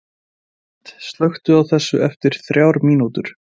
Hind, slökktu á þessu eftir þrjár mínútur.